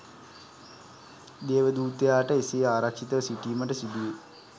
දේවදූතයාට එසේ ආරක්‍ෂිතව සිටීමට සිදුවේ.